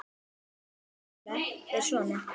Síðari þulan er svona